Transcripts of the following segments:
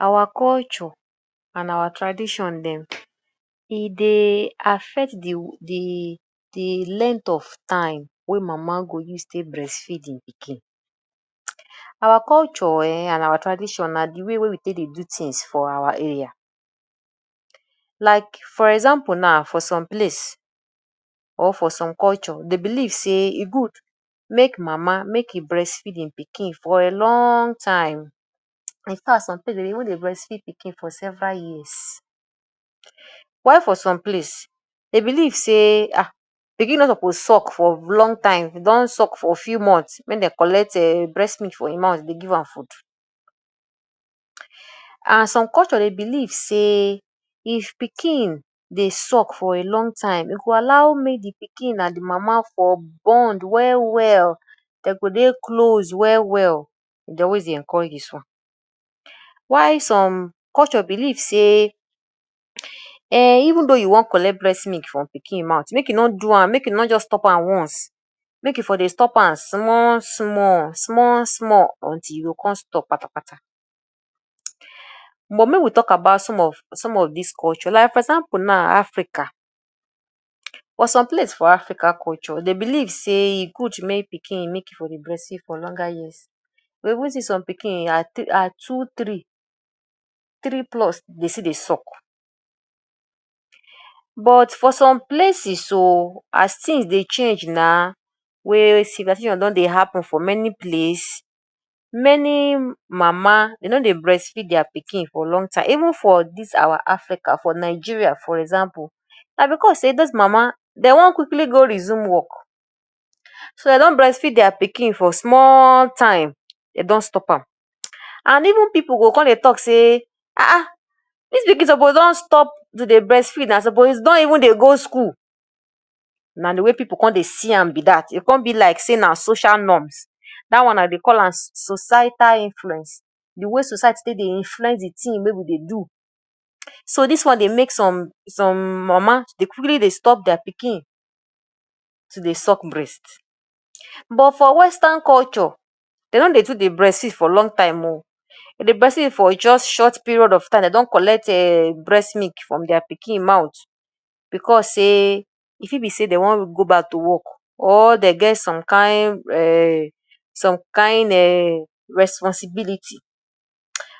Our culture and our tradition dem, e dey affect de de de length of time wey mama go use take breast feed im pikin. Our culture um and our tradition na de way wey we take dey do things for our area. Like for example now for some place or for some culture dey belief sey e good make mama make e breast feed im pikin for a long time in fact some place dem dey even dey breastfeed pikin for several years. While for some place dey believe sey um pikin no suppose suck for long time. E don suck for few months, make dem collect um breast milk from im mouth dey give am food. And some culture dey believe sey if pikin dey suck for a long time dem go allow make de pikin and de mama for bond well well dem go dey close well well, dem dey always dey encourage dis one. While some culture believe sey um even though you wan collect breast milk for pikin mouth make e no do am make e no just stop am once, make e for dey stop am small small small small until e go come stop kpata kpata. But make we talk about some of some of dis culture like for example now Africa or some place for Africa culture; dey believe sey e good make pikin make e for dey breastfeed for longer years. You go even see some pikin at two three, three plus dey still dey suck. But for some places oo as things dey change now wey civilization don dey happen for many place, many mama dey no dey breastfeed their pikin for long time even for dis our Africa. For Nigeria for example, na because sey those mama dey wan quickly go resume work so dey don breastfeed their pikin for small time dey don stop am and even pipu go come dey talk sey, Ah ah dis pikin suppose don stop to dey breastfeed na, suppose don even dey go school. Na de way pipu come dey see am be dat oo, e come be like say na social norms dat one na dey dey call am society influence. De way society take dey influence de things wey we dey do, so dis one dey make some some mama to quickly dey stop their pikin to dey suck breast. But for Western culture, dey no dey too dey breastfeed for long time oo. Dey dey breastfeed for just short period of time, dey don collect um breast milk from their pikin mouth because sey e fit be sey dey wan go back to work or dey get some kain um, some kain um responsibility.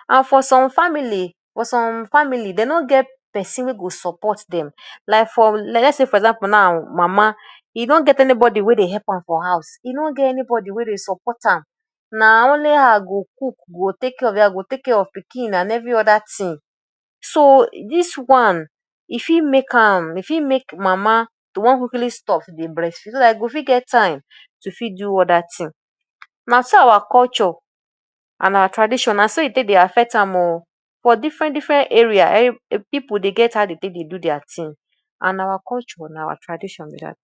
And for some family for some family dey no get person wey go support dem like for lets sey for example now mama, e no get anybody wey dey help am for house, e no get anybody wey dey support am na only her go cook, go take care of de house, go take care of de pikin and every other thing. So dis one e fit make am e fit make mama to wan quickly stop dey breastfeed so dat e go fit get time to fit do other thing. Na so our culture and our tradition, na so e take dey affect am oo. For different different area pipu dey get how dey take dey do their thing and na our culture and our tradition be dat.